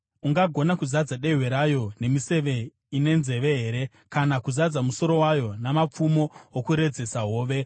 Ungagona kuzadza dehwe rayo nemiseve ine nzeve here, kana kuzadza musoro wayo namapfumo okuredzesa hove?